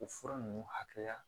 O fura ninnu hakɛya